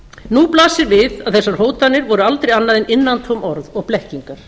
nú blasir við að þessar hótanir voru aldrei annað en innantóm orð og blekkingar